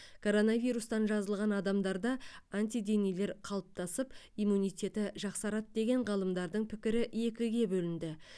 коронавирустан жазылған адамдарда антиденелер қалыптасып иммунитеті жақсарады деген ғалымдардың пікірі екіге бөлінді